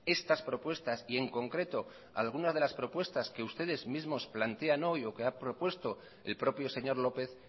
estas propuestas y en concreto algunas de las propuestas que ustedes mismos plantean hoy o que ha propuesto el propio señor lópez